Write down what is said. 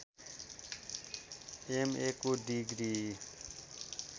एमएको degree